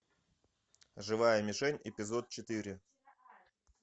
живая мишень эпизод четыре